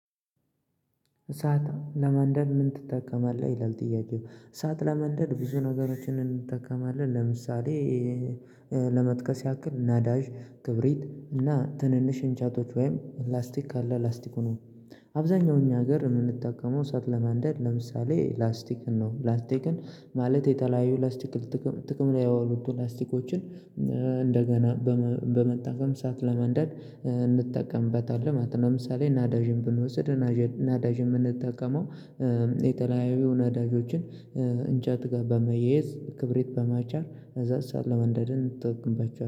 እሳት ለማንደድ ምን ትጠቀማለህ ይላል ጥያቄው? እሳት ለማንደድ ብዙ ነገሮችን እንጠቀማለን ለምሳሌ። ለመጥቀስ ያክል ነዳጅ ክብሪት እና ትንንሽ እንጨቶች ወይም ላስቲክ ካለ ላስቲኩን አብዛኛው እኛ ሀገር የምንጠቀመው እሳት ለማንደድ ለምሳሌ ላስቲክን ነው። ላስቲክን ማለት የተለያዩ ላስቲክ ጥቅም ጥቅም ላይ ያወሉት ላስቲኮችን እንደገና በመጠቀም እሳት ለማንደድ እንጠቀምበታለን። ለምሳሌ ነዳጅን ብንወስድ። ነዳጅን የምንጠቀመው የተለያዩ ነዳጆችን። እንጨት ጋር በማያያዝ ክብሪት በመጫር ከዛ እሳት ለማንደድን እንጠቀምባቸዋለን